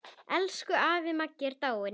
Elsku afi Maggi er dáinn.